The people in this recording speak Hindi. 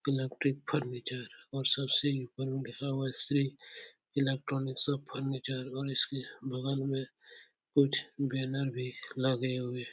इलेक्ट्रिक फर्नीचर और सबसे ऊपर श्री इलेक्ट्रानिक्स ऑफ फर्नीचर और इसके बगल में कुछ बैनर भी लगे हुए --